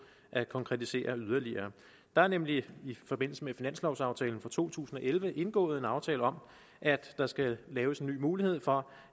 at konkretisere yderligere der er nemlig i forbindelse med finanslovaftalen for to tusind og elleve indgået en aftale om at der skal laves en ny mulighed for